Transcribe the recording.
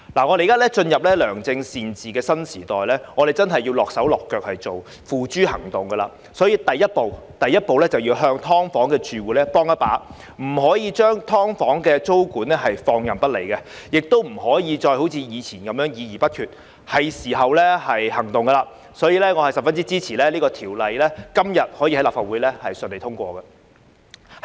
我們現在進入良政善治的新時代，我們真的要付諸行動，所以，第一步要幫"劏房"住戶一把，不能將"劏房"的租管放任不理，也不能一如以往議而不決，現在是時候採取行動，所以我十分支持立法會今天順利通過《條例草案》。